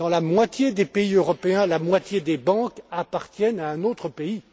Dans la moitié des pays européens, la moitié des banques appartiennent à un autre pays.